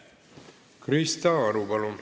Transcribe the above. Krista Aru, palun!